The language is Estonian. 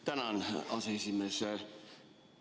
Tänan, aseesimees!